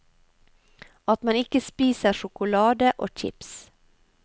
At man ikke spiser sjokolade og chips.